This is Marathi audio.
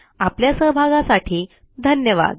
आपल्या सहभागासाठी धन्यवाद